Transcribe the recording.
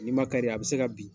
N' ma kari a bɛ se ka bin